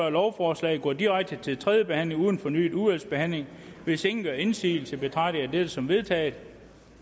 lovforslaget går direkte til tredje behandling uden fornyet udvalgsbehandling hvis ingen gør indsigelse betragter jeg dette som vedtaget